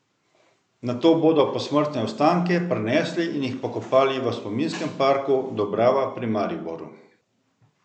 Nato bodo posmrtne ostanke prenesli in jih pokopali v Spominskem parku Dobrava pri Mariboru.